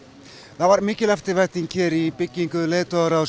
það var mikil eftirvænting hér í byggingu leiðtogaráðs